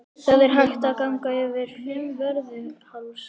Það er hægt að ganga yfir Fimmvörðuháls.